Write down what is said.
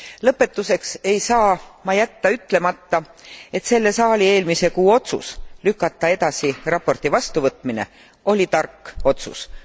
Lõpetuseks ei saa ma jätta ütlemata, et selle saali eelmise kuu otsus lükata edasi raporti vastuvõtmine oli tark otsus.